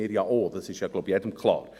ich glaube, das ist jedem klar.